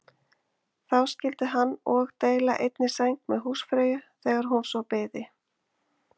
Þá skyldi hann og deila einni sæng með húsfreyju þegar hún svo byði.